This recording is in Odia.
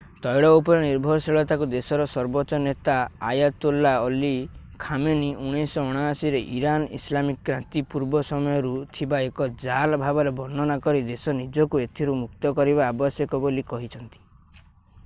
ତୈଳ ଉପରେ ନିର୍ଭରଶୀଳତାକୁ ଦେଶର ସର୍ବୋଚ୍ଚ ନେତା ଆୟାତୋଲ୍ଲା ଅଲି ଖାମେନି 1979 ରେ ଇରାନର ଇସଲାମିକ କ୍ରାନ୍ତି ପୂର୍ବ ସମୟରୁ ଥିବା ଏକ ଜାଲ ଭାବରେ ବର୍ଣ୍ଣନା କରି ଦେଶ ନିଜକୁ ଏଥିରୁ ମୁକ୍ତ କରିବା ଆବଶ୍ୟକ ବୋଲି କହିଛନ୍ତି